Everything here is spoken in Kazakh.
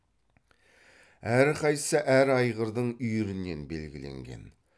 әрқайсысы әр айғырдың үйірінен белгіленген